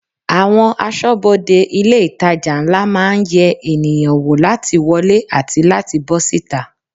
Àwọn aṣọ́bodè ilé itàjà ńlá máa ń yẹ ènìyàn wo láti wọlé àti láti bó síta.